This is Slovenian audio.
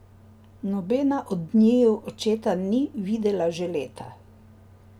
Nobena od njiju očeta ni videla že leta.